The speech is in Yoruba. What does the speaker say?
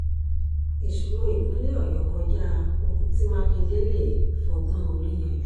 ìṣòro ìpínlẹ̀ ọ̀yọ́ kọjá ohun tí mákindé lè fọgbọ́n orí yanjú